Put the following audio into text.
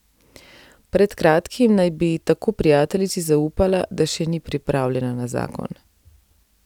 Pred kratkim naj bi tako prijateljici zaupala, da še ni pripravljena na zakon.